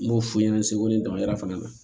N b'o f'u ɲɛna seko ni dama yira fana na